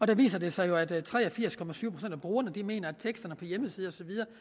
der viser det sig jo at tre og firs procent af brugerne mener at teksterne på hjemmesider